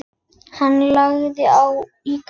Hann langar í kaffi.